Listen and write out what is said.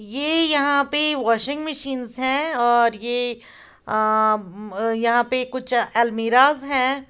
ये यहाँ पे वाशिंग मशीन्स है और ये अ यहां पे कुछ अलमीराज हैं।